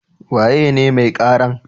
Waye ne mai karan?